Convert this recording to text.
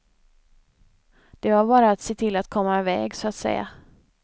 Det var bara att se till att komma i väg, så att säga.